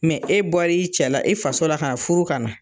Mɛ e bɔra i cɛla , i faso la ka furu ka na.